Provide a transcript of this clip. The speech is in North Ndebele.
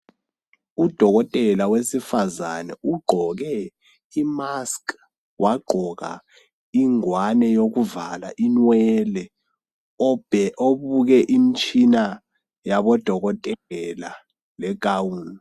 Udokotela wesifazane ugqoke imask wagqoka ingwane yokuvala inwele obuke imtshina yabodokotela legawuni.